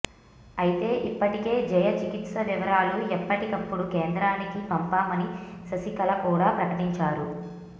అయితే ఇప్పటికే జయ చికిత్స వివరాలు ఎప్పటికప్పుడు కేంద్రానికి పంపామని శశికళ కూడా ప్రకటించారు